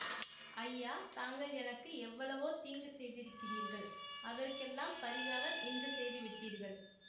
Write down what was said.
ஐயா தாங்கள் எனக்கு எவ்வளவோ தீங்கு செய்திருக்கிறீர்கள் அதற்கெல்லாம் பரிகாரம் இன்று செய்து விட்டீர்கள்